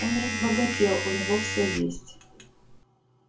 он разбогател у него всё есть